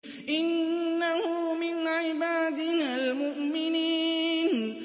إِنَّهُ مِنْ عِبَادِنَا الْمُؤْمِنِينَ